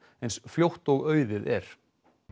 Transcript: eins fljótt og auðið er